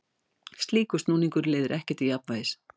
Slíkur snúningur leiðir ekki til jafnvægis.